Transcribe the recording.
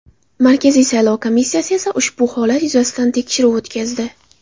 Markaziy saylov komissiyasi esa ushbu holat yuzasidan tekshiruv o‘tkazdi .